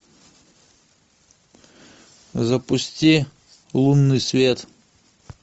запусти лунный свет